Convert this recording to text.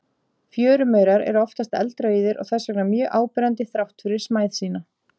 Fjörumaurar eru oftast eldrauðir og þess vegna mjög áberandi þrátt fyrir smæð sína.